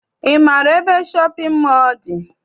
Ị maara ebe shọpịn mọọ dị?